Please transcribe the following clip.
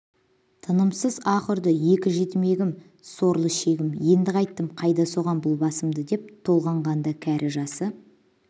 тынымсыз аһ ұрды екі жетімегім сорлышегім енді қайттім қайда соғам бұл басымды деп толғанғанда кәрі жасы